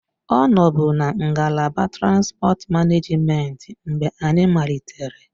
Ọ nọbu na ngalaba transipọt manejment mgbe anyị malitere